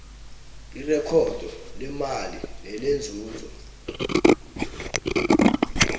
irekhodo lemali nelenzuzo